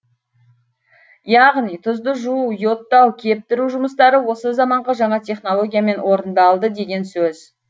яғни тұзды жуу йодтау кептіру жұмыстары осы заманғы жаңа технологиямен орындалды деген сөз